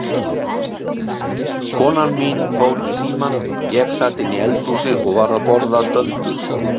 Konan mín fór í símann, ég sat inni í eldhúsi og var að borða döndul.